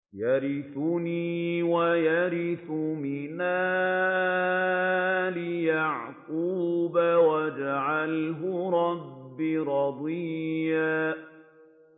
يَرِثُنِي وَيَرِثُ مِنْ آلِ يَعْقُوبَ ۖ وَاجْعَلْهُ رَبِّ رَضِيًّا